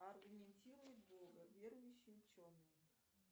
аргументируй бога верующие ученые